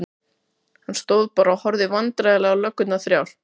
Hann stóð bara og horfði vandræðalega á löggurnar þrjár.